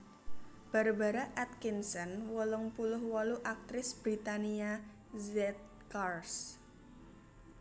Barbara Atkinson wolung puluh wolu aktris Britania Z Cars